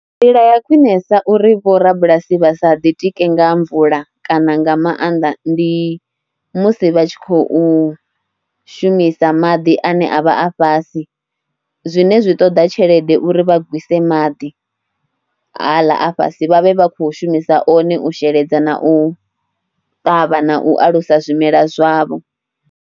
Nḓila ya khwinesa uri vhorabulasi vha sa ḓitike nga mvula kana nga maanḓa ndi musi vha tshi khou shumisa maḓi ane a vha a fhasi zwine zwi ṱoḓa tshelede uri vha gwise maḓi haḽa a fhasi vha vhe vha khou shumisa one u sheledza na u ṱavha na u alusa zwimelwa zwavho.